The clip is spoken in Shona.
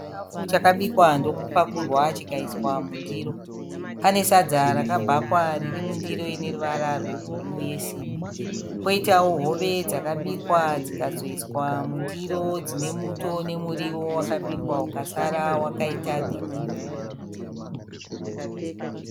Chikafu chakabikwa ndokupakurwa chikaiswa mundiro. Pane sadza rakabhakwa riri mundiro ine ruvara rwebhuruu yesimbi. Kwoitawo hove dzakabikwa dzikazoiswa mundiro dzine muto nemuriwo wakabikwa ukasara wakaita girini.